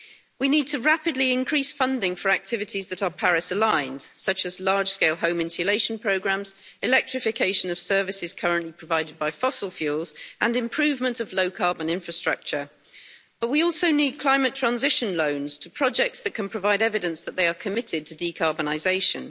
We need to rapidly increase funding for activities that are Paris aligned, such as large-scale home insulation programmes, electrification of services currently provided by fossil fuels and improvement of low-carbon infrastructure, but we also need climate transition loans for projects that can provide evidence that they are committed to decarbonisation.